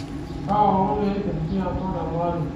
kaalong eipir kiama teleari